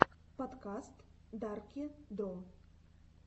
подкаст дарки дро